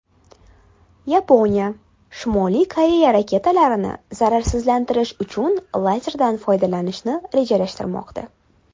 Yaponiya Shimoliy Koreya raketalarini zararsizlantirish uchun lazerdan foydalanishni rejalashtirmoqda.